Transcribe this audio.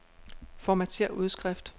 Formatér udskrift.